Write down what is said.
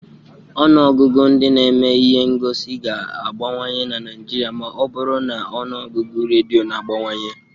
Ọnụ ọgụgụ ndị na-eme ihe ngosi ga-abawanye na Nigeria ma ọ bụrụ na ọnụ ọgụgụ redio na-abawanye